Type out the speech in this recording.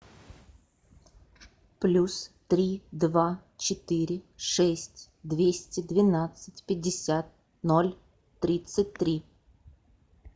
плюс три два четыре шесть двести двенадцать пятьдесят ноль тридцать три